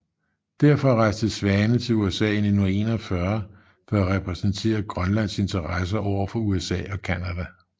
Derfor rejste Svane til USA i 1941 for at repræsentere Grønlands interesser over for USA og Canada